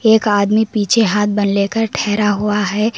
एक आदमी पीछे हाथ बांध लेकर ठहरा हुआ है।